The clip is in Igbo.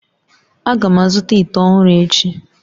Aga m azụta ite ọhụrụ echi